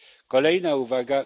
Kolejna uwaga.